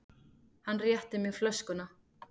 Hann rétti mér flöskuna.